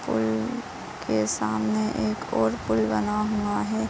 पुल के सामने एक और पुल बना हुआ है।